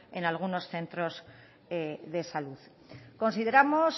en algunos centros de salud consideramos